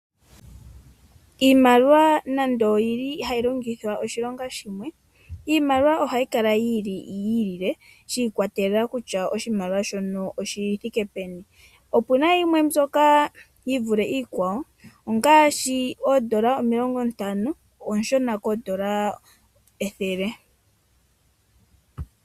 Iimaliwa nando ohayi longithwa oshilonga shimwe, iimaliwa ohayi kala yi ilile, shi ikwatelela kutya oshimaliwa shono oshi thike peni. Opu na yimwe mbyoka yi vule iikwawo ongaashi oondola omilongo ntano oonshona koondola ethele.